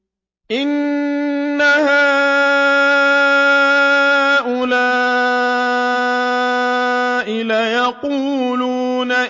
إِنَّ هَٰؤُلَاءِ لَيَقُولُونَ